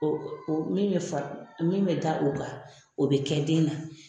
O o min be fa min be da o kan o be kɛ den na